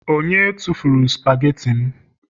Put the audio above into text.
onye tufuru spageti m